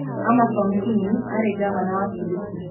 Amason Kingi aarĩ ngavana wa Kilifi